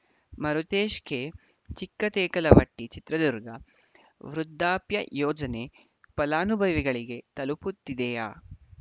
Marutesh K Chikkatekalavatti Chitradurga ವೃದ್ಧಾಪ್ಯ ಯೋಜನೆ ಫಲಾನುಭವಿಗಳಿಗೆ ತಲುಪುತ್ತಿದೆಯಾ